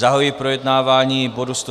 Zahajuji projednávání bodu